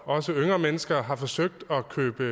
også yngre mennesker har forsøgt at købe